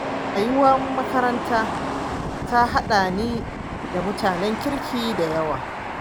Rayuwar makaranta ta haɗa ni da mutanen kirki da yawa.